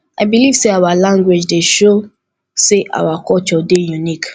i believe sey our language dey show sey our culture dey unique